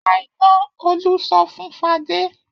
Pa iná! Olú sọ fún Fadé.